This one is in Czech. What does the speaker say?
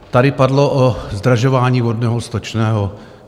Tady padlo o zdražování vodného, stočného.